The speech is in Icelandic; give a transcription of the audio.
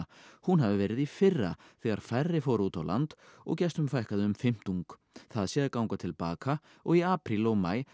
hún hafi verið í fyrra þegar færri fóru út á land og gestum fækkaði um fimmtung það sé að ganga til baka og í apríl og maí